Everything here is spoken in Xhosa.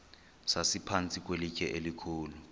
sasiphantsi kwelitye elikhulu